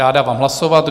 Já dávám hlasovat.